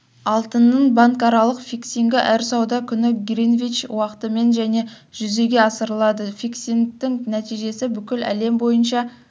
алтынның банкаралық фиксингі әр сауда күні гринвич уақытымен және жүзеге асырылады фиксингтің нәтижесі бүкіл әлем бойынша